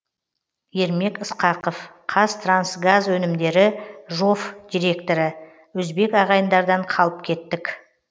ермек ысқақов қазтрансгаз өнімдері жоф директоры өзбек ағайындардан қалып кеттік